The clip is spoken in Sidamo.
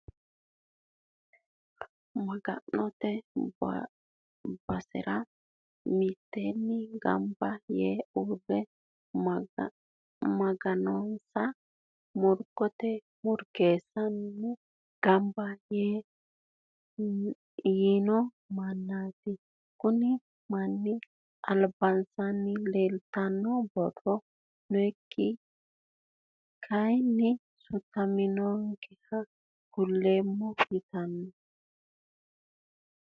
Maga'note basera mitteenni gamba yee uurre maganonsa murgotenni murgeessara gamba yiino mannaati. Kunni manni albaanni leeltanno borro ninke kaaynni sutaminonkeha kulleemmo yitannote.